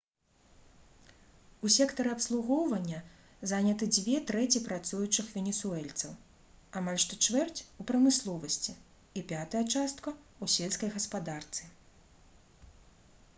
у сектары абслугоўвання заняты дзве трэці працуючых венесуэльцаў амаль што чвэрць у прамысловасці і пятая частка у сельскай гаспадарцы